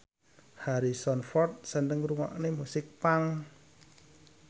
Harrison Ford seneng ngrungokne musik punk